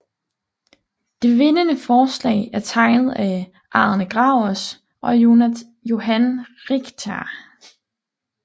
Det vindende forslag er tegnet af Arne Gravers og Johan Richter